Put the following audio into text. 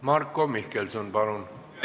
Marko Mihkelson, palun!